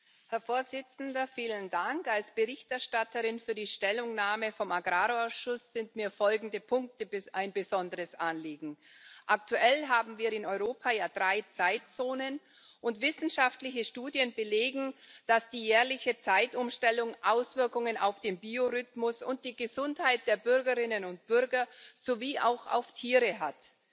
Als Verfasserin der Stellungnahme des Agrarausschusses sind mir folgende Punkte ein besonderes Anliegen Aktuell haben wir in Europa ja drei Zeitzonen, und wissenschaftliche Studien belegen, dass die jährliche Zeitumstellung Auswirkungen auf den Biorhythmus und die Gesundheit der Bürgerinnen und Bürger sowie auch auf Tiere hat.